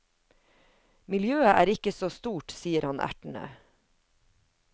Miljøet er ikke så stort, sier han ertende.